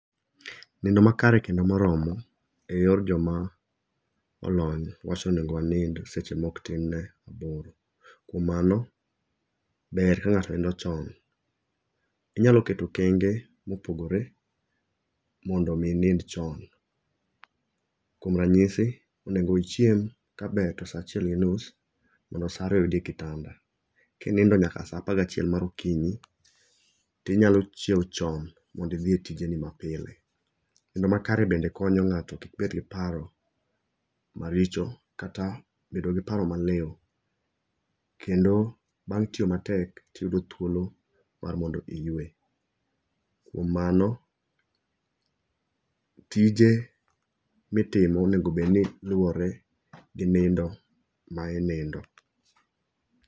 Nindo makare kendo moromo, e yor jomolony wacho ni onego wanind seche maok tin ne aboro. Kuom mano, ber ka ng'ato nindo chon. Inyalo keto okenge mopogore mondo omi inind chon. Kuom ranyisi onego ichiem kaber to sa achiel gi nus mondo sa ariyo oyudi e kitanda. Kinindo nyaka sa apagachiel mar okinyi, tinyalo chiew chon mondi idhi e tijeni mapile. Nindo makare bende konyo ng'ato kik bed gi paro maricho kata bedo gi paro maliw. Kendo bang' tiyo matek tiyudo thuolo mondo iyue. Kuom mano tije mitimo onego bed ni luwore gi nindo ma in inindo.